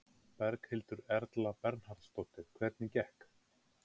Berghildur Erla Bernharðsdóttir: Hvernig gekk?